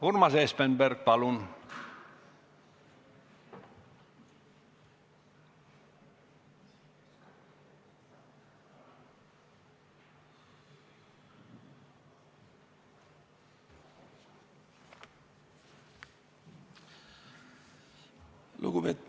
Urmas Espenberg, palun!